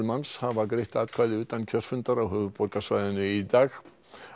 manns hafa greitt atkvæði utan kjörfundar á höfuðborgarsvæðinu í dag